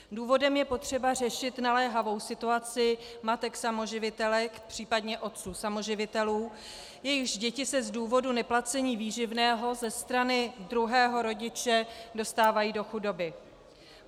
Důvodem je potřeba řešit naléhavou situaci matek samoživitelek, případně otců samoživitelů, jejichž děti se z důvodu neplacení výživného ze strany druhého rodiče dostávají do chudoby.